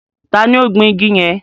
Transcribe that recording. Tani ó gbin igi yẹn?